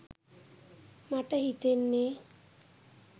මට හිතෙන්නේ